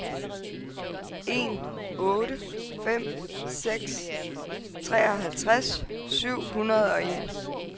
en otte fem seks treoghalvtreds syv hundrede og en